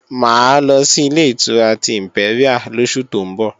Mà á lọ sí Ilé-ìtura ti ìmpẹ́ríà lóṣù tó ń bọ̀